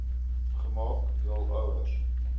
gemaak jul ouers